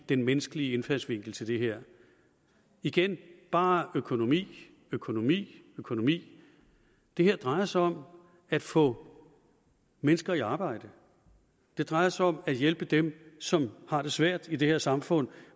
den menneskelige indfaldsvinkel til det her igen bare økonomi økonomi økonomi det her drejer sig om at få mennesker i arbejde det drejer sig om at hjælpe dem som har det svært i det her samfund